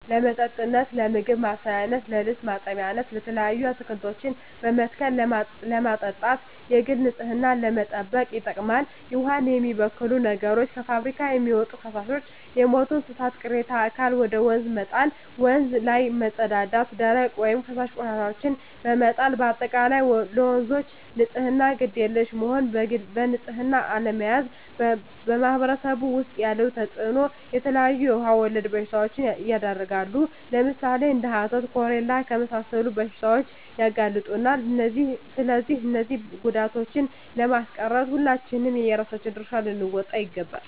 ለመጠጥነት ለምግብ መስሪያነት ለልብስ ማጠቢያነት የተለያዩ አትክልቶችን በመትከል ለማጠጣት የግል ንፅህናን ለመጠበቅ ይጠቅማል ዉሃን የሚበክሉ ነገሮች - ከፍብሪካ የሚወጡ ፈሳሾች - የሞቱ የእንስሳት ቅሬታ አካል ወደ ወንዝ መጣል - ወንዝ ላይ መፀዳዳት - ደረቅ ወይም ፈሳሽ ቆሻሻዎችን በመጣል - በአጠቃላይ ለወንዞች ንፅህና ግድ የለሽ መሆን በንፅህና አለመያዝ በማህበረሰቡ ዉስጥ ያለዉ ተፅእኖ - የተለያዩ የዉሃ ወለድ በሽታዎች ይዳረጋሉ ለምሳሌ፦ እንደ ሀተት፣ ኮሌራ ለመሳሰሉት በሽታዎች ያጋልጡናል ስለዚህ እነዚህን ጉዳቶችን ለማስቀረት ሁላችንም የየራሳችን ድርሻ ልንወጣ ይገባል